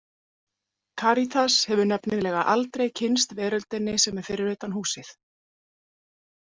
Karítas hefur nefnilega aldrei kynnst veröldinni sem er fyrir utan húsið.